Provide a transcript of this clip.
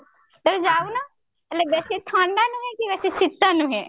ତମେ ଯାଉନ ହେଲେ ବେସୀ ଥଣ୍ଡା ନୁହେଁ କି ବେସୀ ଶୀତ ନୁହେଁ